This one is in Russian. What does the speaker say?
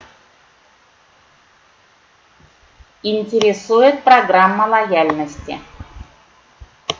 интересует программа лояльности